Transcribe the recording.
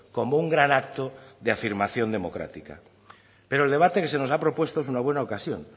como un gran acto de afirmación democrática pero el debate que se nos ha propuesto es una buena ocasión